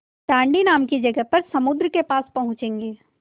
दाँडी नाम की जगह पर समुद्र के पास पहुँचेंगे